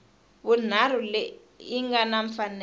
vunharhu leyi nga na mfanelo